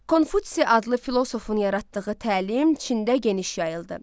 Konfutsi adlı filosofun yaratdığı təlim Çində geniş yayıldı.